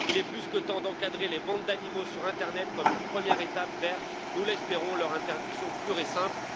Il est plus que temps d'encadrer les ventes d'animaux sur l'internet comme une première étape vers, nous l'espérons, leur interdiction pure et simple.